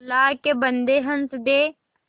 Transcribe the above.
अल्लाह के बन्दे हंस दे